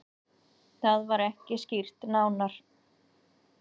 Það var ekki skýrt nánar.